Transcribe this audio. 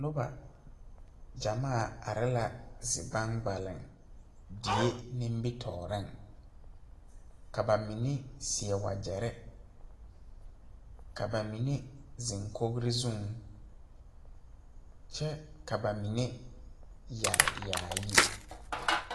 Noba gyamaa are la zi gbaŋgbaleŋ die nimitooreŋ ka ba mine seɛ wagyɛrre ka ba mine zeŋ kogre zuŋ kyɛ ka ba mine yɛre yaayi.